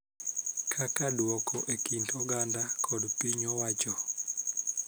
Kaka duoko e kind oganda kod piny owacho.